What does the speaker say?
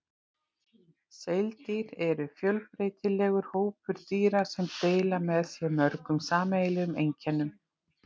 Seildýr eru fjölbreytilegur hópur dýra sem deila með sér mörgum sameiginlegum einkennum.